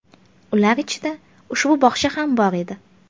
Ular ichida ushbu bog‘cha ham bor edi.